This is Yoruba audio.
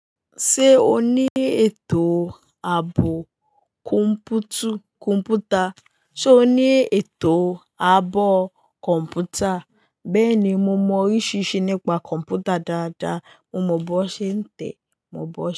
Ṣé o ní ètò ààbò kọ̀m̀pútà? Ṣé o ní ètò ààbò kọ̀m̀pútà? Bẹ́ẹ̀ni, mo mọ oríṣiríṣi nípa kọ̀m̀pútà dáadáa. Mo mọ bó ṣe ń tẹ, mo mọ bó ṣe.